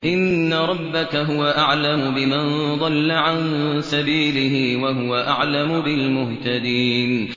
إِنَّ رَبَّكَ هُوَ أَعْلَمُ بِمَن ضَلَّ عَن سَبِيلِهِ وَهُوَ أَعْلَمُ بِالْمُهْتَدِينَ